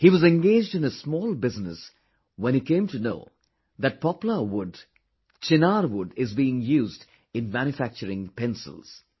He was engaged in his small business when he came to know that Poplar wood , Chinar wood is being used in manufacturing pencils